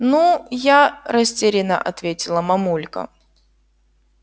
ну я растеряно ответила мамулька